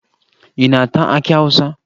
Ị na-ata akị Awụsa?